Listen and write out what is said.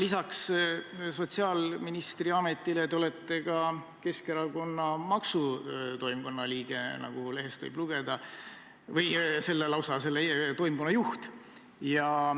Lisaks sotsiaalministri ametile olete te ka Keskerakonna maksutoimkonna liige, nagu lehest võib lugeda, lausa selle toimkonna juht.